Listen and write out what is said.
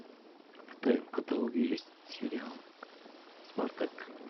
в твоем каталоге есть сериал спартак